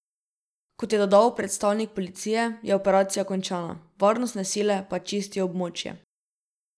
Kot je dodal predstavnik policije, je operacija končana, varnostne sile pa čistijo območje.